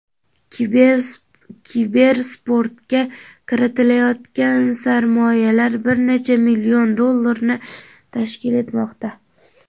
Kibersportga kiritilayotgan sarmoyalar bir necha million dollarni tashkil etmoqda.